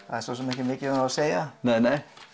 það er ekki mikið um þá að segja